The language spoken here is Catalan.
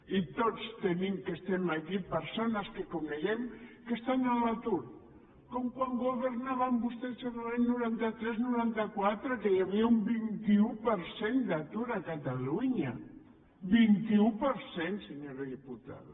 i tots tenim els que estem aquí persones que coneixem que estan a l’atur com quan governaven vostès l’any noranta tres noranta quatre que hi havia un vint un per cent d’atur a catalunya vint un per cent senyora diputada